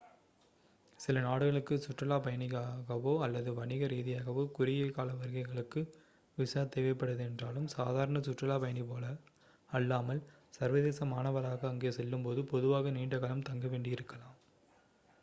சில நாடுகளுக்கு சுற்றுலாப் பயணியாகவோ அல்லது வணிக ரீதியாகவோ குறுகிய கால வருகைகளுக்கு விசா தேவைப்படாதென்றாலும் சாதாரண சுற்றுலா பயணி போல அல்லாமல் சர்வதேச மாணவராக அங்கே செல்லும்போது பொதுவாக நீண்ட காலம் தங்க வேண்டி இருக்கலாம்